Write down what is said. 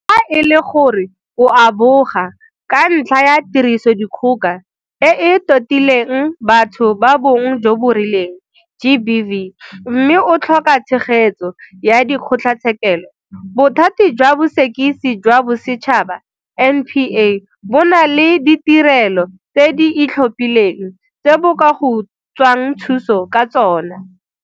Fa e le gore o a boga ka ntlha ya Tirisodikgoka e e Totileng Batho ba Bong jo bo Rileng, GBV, mme o tlhoka tshegetso ya dikgotla tshekelo, Bothati jwa Bosekisi jwa Bosetšhaba, NPA, bo na le ditirelo tse di itlhophileng tse bo ka go tswang thuso ka tsona.